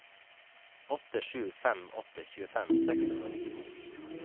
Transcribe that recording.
åtte sju fem åtte tjuefem seks hundre og nittito